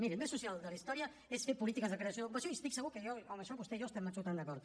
miri el més social de la història és fer polítiques de creació d’ocupació i estic segur que en això vostè i jo estem absolutament d’acord